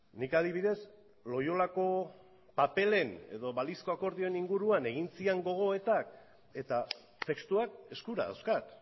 nik adibidez loiolako paperen edo balizko akordioen inguruan egin ziren gogoetak eta testuak eskura dauzkat